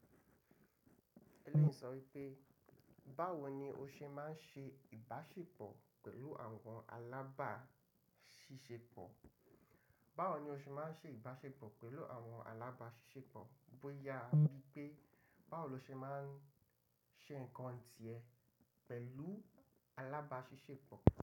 Ẹlẹ́yìí sọ wípé, báwo ni o ṣe máa ń ṣe ìbáṣepọ̀ pẹ̀lú àwọn alábáṣiṣẹ́pọ̀? Báwo ni o ṣe máa ń ṣe ìbáṣepọ̀ pẹ̀lú àwọn alábáṣiṣẹ́pọ̀, bóyá bí pé báwo lo ṣe máa ń ṣe nǹkan tíẹ̀ pẹ̀lú alábáṣiṣẹ́pọ̀